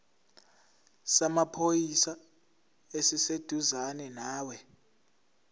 samaphoyisa esiseduzane nawe